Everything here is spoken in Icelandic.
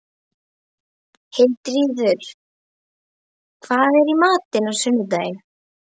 Hildiríður, hvað er í matinn á sunnudaginn?